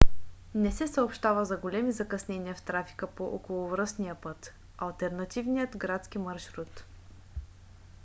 не се съобщава за големи закъснения в трафика по околовръстния път - алтернативният градски маршрут